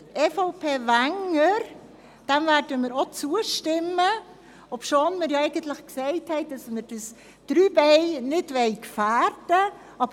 Dem Antrag EVP/Wenger werden wir zustimmen, obwohl wir diese drei Beine eigentlich nicht gefährden wollen.